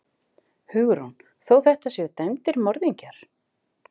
Hugrún: Þó þetta séu dæmdir morðingjar?